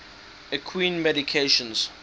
equine medications